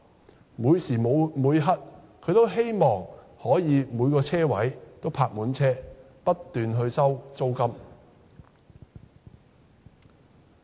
它無時無刻也希望每個車位也泊了車，不斷收取租金。